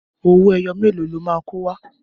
Owó ẹyọ mélòó lo máa kó wá?